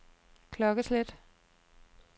klokkeslæt